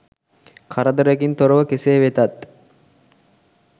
කරදරයකින් තොරව කෙසේ වෙතත්